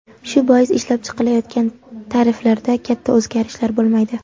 Shu bois, ishlab chiqilayotgan tariflarda katta o‘zgarishlar bo‘lmaydi.